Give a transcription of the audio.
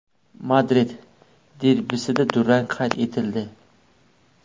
Madrid derbisida durang qayd etildi.